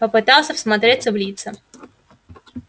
попытался всмотреться в лица